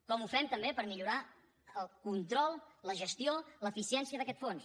com ho fem també per millorar el control la gestió l’eficiència d’aquests fons